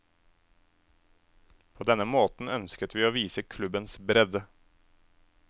På denne måten ønsket vi å vise klubbens bredde.